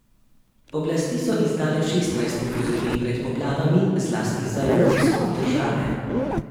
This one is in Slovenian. Oblasti so izdale šestnajst opozoril pred poplavami, zlasti za jugovzhod države.